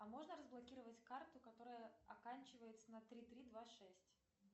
а можно разблокировать карту которая оканчивается на три три два шесть